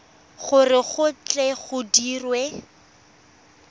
gore go tle go dirwe